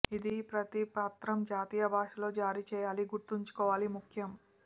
ఇది ప్రతి పత్రం జాతీయ భాషలో జారీ చేయాలి గుర్తుంచుకోవాలి ముఖ్యం